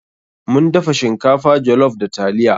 Mun dafa shinkafa jollof da taliya.